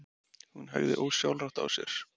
Hún hægði ósjálfrátt á sér.